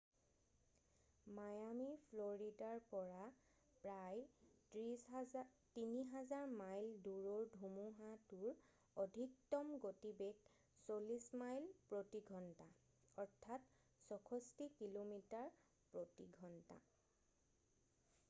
Miami ফ্লৰিদাৰ পৰা প্ৰায় ৩,০০০ মাইল দূৰৰ ধুমুহাতোৰ অধিকতম গতিবেগ ৪০ মাইল প্ৰতি ঘণ্টা ৬৪ কিলোমিটাৰ প্ৰতি ঘণ্টা।